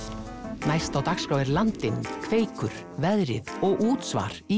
næst á dagskrá er Landinn Kveikur veðrið og útsvar í